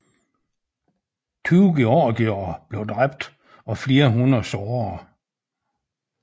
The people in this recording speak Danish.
Tyve georgiere blev dræbt og flere hundrede såret